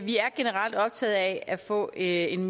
vi er generelt optaget af at få en